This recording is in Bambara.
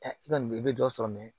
i ka nin i bɛ dɔ sɔrɔ